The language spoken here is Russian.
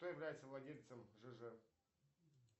кто является владельцем жж